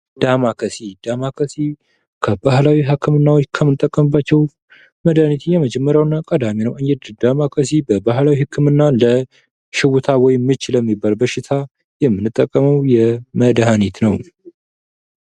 ዳማከሰይ:- ዳማከሰይ ከባህላዊ ህክምናዎች ከምንጠቀምባቸዉ መድኃኒቶች የመጀመሪያዉ ቀዳሚ ነዉ። ዳማከሰይ በባህላዊ ህክምና ለሽዉታ ወይም ምች ለሚባል በሽታ የምንጠቀመዉ መድኃኒት ነዉ።